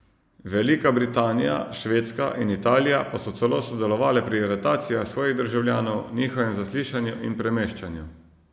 Velika Britanija, Švedska in Italija pa so celo sodelovale pri aretacijah svojih državljanov, njihovem zaslišanju in premeščanju.